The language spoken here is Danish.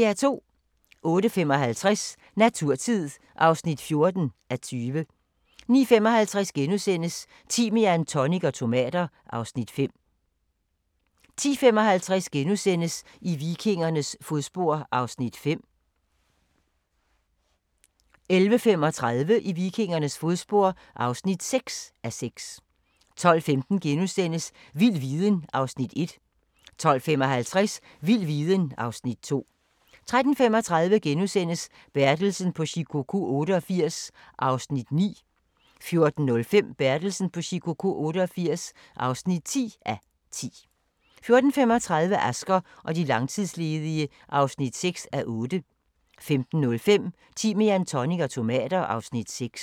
08:55: Naturtid (14:20) 09:55: Timian, tonic og tomater (Afs. 5)* 10:55: I vikingernes fodspor (5:6)* 11:35: I vikingernes fodspor (6:6) 12:15: Vild viden (Afs. 1)* 12:55: Vild viden (Afs. 2) 13:35: Bertelsen på Shikoku 88 (9:10)* 14:05: Bertelsen på Shikoku 88 (10:10) 14:35: Asger og de langtidsledige (6:8) 15:05: Timian, tonic og tomater (Afs. 6)